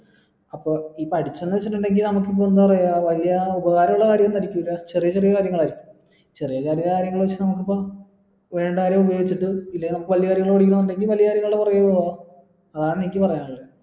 അപ്പൊ ഈ പഠിച്ചിന്ന് വെച്ചിട്ടുണ്ടെകി നമുക്ക് ഇപ്പൊ എന്താ പറയാ വലിയ ഉപകാരമുള്ള കാര്യോ ഒന്ന് ആയിരിക്കൂല ചെറിയ ചെറിയ കാര്യങ്ങൾ ആയിരിക്കും ചെറിയ കാര്യങ്ങൾ എന്ന് പറയുമ്പോൾ നമുക്കിപ്പോൾ വേണ്ട കാര്യം ഉപയോഗിച്ചിട്ട് ഇല്ലെങ്കിൽ വലിയ കാര്യങ്ങൾ പഠിക്കണമെങ്കിൽ നമുക്ക് വലിയ കാര്യങ്ങൾ പുറകെ പോകാം അതാണ് എനിക്ക് പറയാനുള്ളത്